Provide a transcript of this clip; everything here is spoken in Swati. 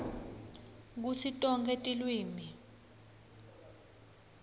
kutsi tonkhe tilwimi